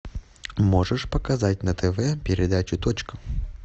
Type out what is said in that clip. можешь показать на тв передачу точка